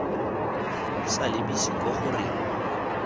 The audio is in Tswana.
sa lebise kwa go reng